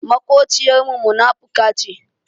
Maƙociyar mu munafuka ce